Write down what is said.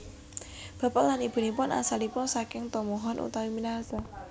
Bapak lan Ibunipun asalipun saking tomohon utawi Minahasa